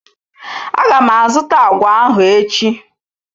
Aga m azụta agwa ahụ echi.